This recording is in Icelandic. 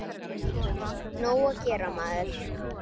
Nóg að gera, maður.